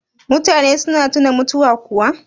mutane suna tuna mutuwa kuwa